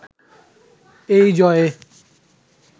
এই জয়ে